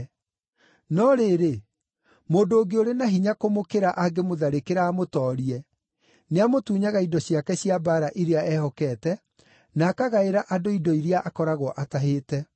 No rĩrĩ, mũndũ ũngĩ ũrĩ na hinya kũmũkĩra angĩmũtharĩkĩra amũtoorie, nĩamũtunyaga indo ciake cia mbaara iria ehokete, na akagaĩra andũ indo iria akoragwo atahĩte.